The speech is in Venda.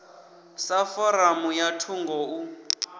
sa foramu ya thungo u